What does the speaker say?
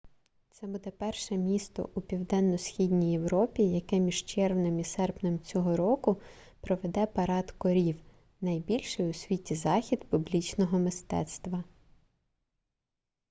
це буде перше місто у південно-східній європі яке між червнем і серпнем цього року проведе парад корів найбільший у світі захід публічного мистецтва